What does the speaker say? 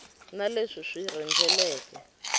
na leswi swi wu rhendzeleke